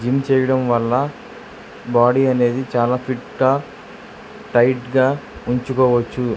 Gym చేయడం వల్ల body అనేది చాలా ఫీట్ గా టైట్ గా ఉంచుకోవచ్చు.